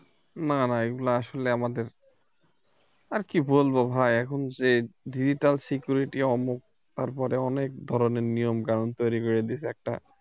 না না এগুলো আসলে আমাদের আর কি বলবো ভাই এখন যে digital security ওমুখ তারপরে অনেক ধরনের নিয়ম কানুন তৈরি করে দিয়েছে একটা